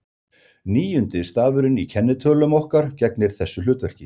Níundi stafurinn í kennitölum okkar gegnir þessu hlutverki.